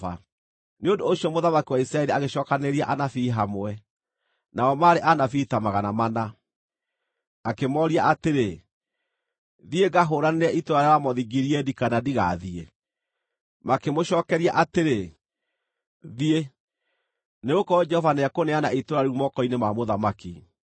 Nĩ ũndũ ũcio mũthamaki wa Isiraeli agĩcookanĩrĩria anabii hamwe, nao maarĩ anabii ta magana mana, akĩmooria atĩrĩ, “Thiĩ ngahũũranĩre itũũra rĩa Ramothu-Gileadi, kana ndigathiĩ?” Makĩmũcookeria atĩrĩ, “Thiĩ, nĩgũkorwo Jehova nĩekũneana itũũra rĩu moko-inĩ ma mũthamaki.”